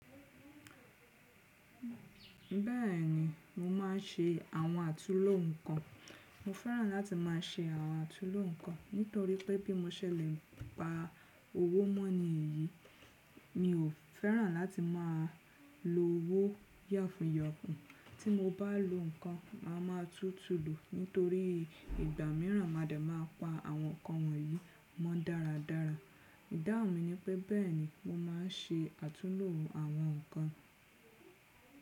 Bẹ́ẹ̀ni, mo máà ń ṣe àwọn àtulò ǹkan. Mo fẹ́ràn láti máa ṣe àwọn àtulò ǹkan nítorí pé bí mo ṣẹ̀ lè pa owó mọ́ ní èyí, mi ò fẹ́ràn láti máa lo owó yàfùn yàfùn. Tí mo bá lo ǹkan máa ma tútù lòó nítorí ìgbà mìíràn má de máa pa àwọn ǹkan wọ̀nyí mọ́ dáradára. Ìdáhùn mi ni pé bẹ́ẹ̀ni mo máa ń ṣe àtulò àwọn ǹkan.